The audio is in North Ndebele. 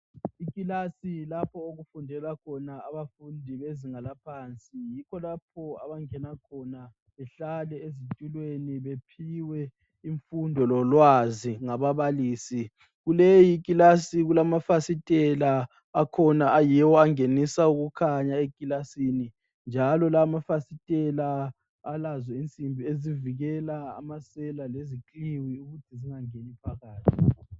Ikilasi lapho okufundela khona abafundi bezinga laphansi. Yikho lapho abangena khona behlale ezitulweni bephiwe imfundo lolwazi ngababalisi. Kuleyi class kulamafasitela akhona ayiwo angenisa ukukhanya ekilasini njalo la amafasitela alazo insimbi ezivikela amasela lezikliwi ukuthi zingangeni phakathi.